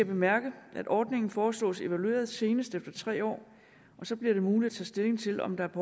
bemærke at ordningen foreslås evalueret senest efter tre år og så bliver det muligt at tage stilling til om der er